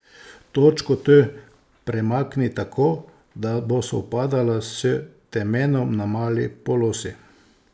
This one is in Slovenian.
Točko T premakni tako, da bo sovpadala s temenom na mali polosi.